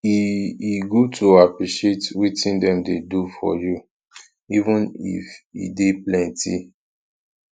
e e good to appreciate wetin dem dey do for you even if e dey plenty